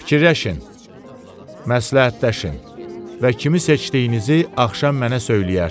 Fikirləşin, məsləhətləşin və kimi seçdiyinizi axşam mənə söyləyərsiniz.